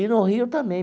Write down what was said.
E no Rio também.